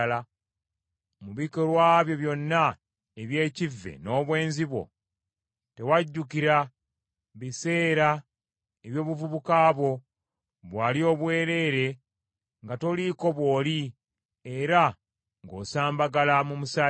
Mu bikolwa byo byonna eby’ekivve n’obwenzi bwo, tewajjukira biseera eby’obuvubuka bwo, bwe wali obwereere nga toliiko bw’oli, era ng’osambagala mu musaayi gwo.